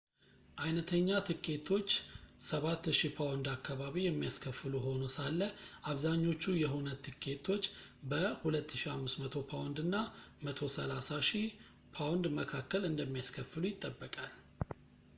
አይነተኛ ትኬቶች ¥7,000 አካባቢ የሚያስከፍሉ ሆኖ ሳለ አብዛኞቹ የሁነት ትኬቶች በ¥2,500 እና ¥130,000 መካከል እንደሚያስከፍሉ ይጠበቃል